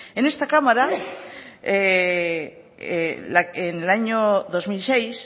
en esta cámara en el año dos mil seis